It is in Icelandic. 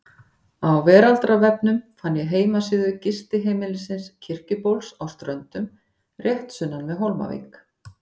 Á veraldarvefnum fann ég heimasíðu gistiheimilisins Kirkjubóls á Ströndum, rétt sunnan við Hólmavík.